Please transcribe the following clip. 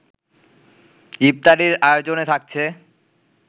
ইফতারির আয়োজনে থাকছে